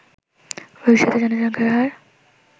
ভবিষ্যতে জনসংখ্যার হার